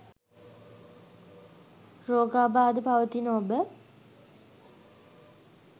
රෝගාබාධ පවතින ඔබ